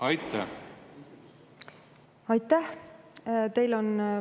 Aitäh!